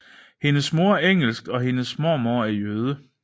Hendes mor er engelsk og og hendes mormor er jøde